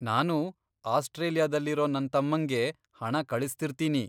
ನಾನೂ ಆಸ್ಟ್ರೇಲಿಯಾದಲ್ಲಿರೋ ನನ್ತಮ್ಮಂಗೆ ಹಣ ಕಳಿಸ್ತಿರ್ತೀನಿ.